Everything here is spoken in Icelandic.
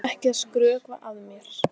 Ertu ekki að skrökva að mér?